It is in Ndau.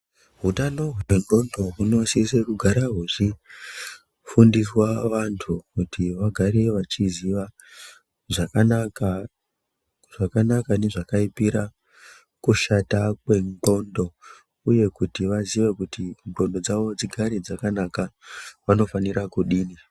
Hutano hwendxondo hunosise kugara hwechifundiswa vantu kuti vagare vachiziva zvakanaka nezvakaipira kushata kwenxlondo. Uye kuti vaziye kuti ndxondo dzavo dzigare dzakanaka vanofanire kudini.